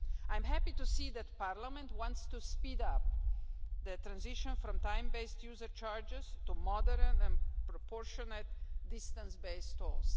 I am happy to see that Parliament wants to speed up the transition from time based user charges to modern and proportionate distance based tolls.